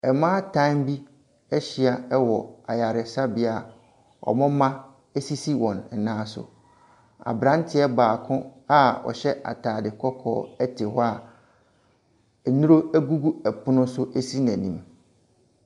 Mmaatan bi ahyia wɔ ayaresabea. Wɔn mma sisi wɔn nan so. Aberanteɛ baako a ɔhyɛ atade kɔkɔɔ te hɔ a nnuro gugu pono so si n'anim.